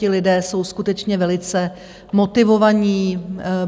Ti lidé jsou skutečně velice motivovaní.